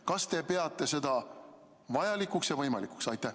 Kas te peate seda vajalikuks ja võimalikuks?